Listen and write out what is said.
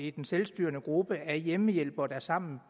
er den selvstyrende gruppe af hjemmehjælpere der sammen